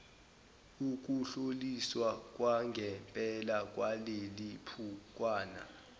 ukuhlolisiswa kwangempela kwalelibhukwana